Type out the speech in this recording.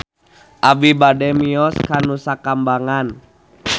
Abi bade mios ka Nusa Kambangan